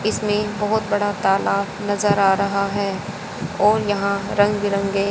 इसमें बहुत बड़ा तालाब नजर आ रहा है और यहां रंग बिरंगे--